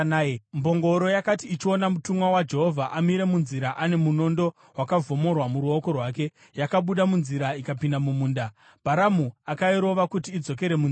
Mbongoro yakati ichiona mutumwa waJehovha amire munzira ane munondo wakavhomorwa muruoko rwake, yakabuda munzira ikapinda mumunda. Bharamu akairova kuti idzokere munzira.